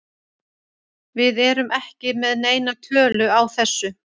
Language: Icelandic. Við erum ekki með neina tölu á þessu.